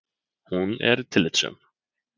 Hún er tillitssöm.